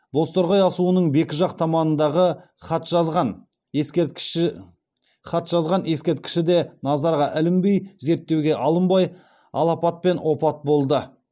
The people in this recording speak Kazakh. бозторғай асуының бекі жақ таманындағы хатжазған ескерткіші де назарға ілінбей зерттеуге алынбай алапатпен опат болды